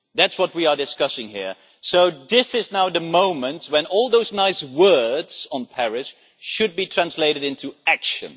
That is what we are discussing here, so this is now the moment when all those nice words on Paris should be translated into action.